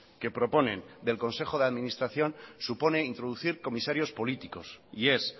que proponen del consejo de administración supone introducir comisarios políticos y es